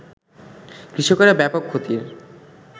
কৃষকেরা ব্যাপক ক্ষতির